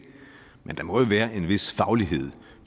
men der må jo være en vis faglighed